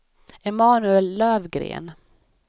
Emanuel Lövgren